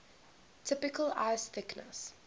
typical ice thickness